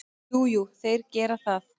Jú, jú, þeir gera það.